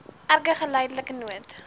erge geldelike nood